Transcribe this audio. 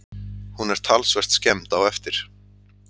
Hún er talsvert skemmd á eftir